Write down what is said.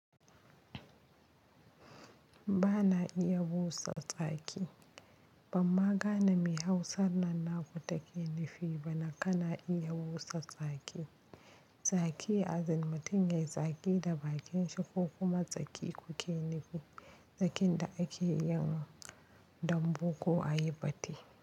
Ba na iya busa tsaki. Ban magana mai hausar nan na ko take nifi ba na ka na iya busa tsaki. Tsaki as in mutum yayi tsaki da bakin sa kokuma tsaki kuke nufi tsakin da ake yi dan bu ko a yi fate.